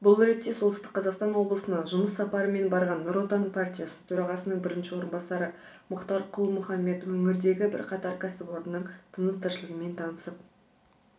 бұл ретте солтүстік қазақстан облысына жұмыс сапарымен барған нұр отан партиясы төрағасының бірінші орынбасары мұхтар құл-мұхаммед өңірдегі бірқатар кәсіпорынның тыныс-тіршілігімен танысып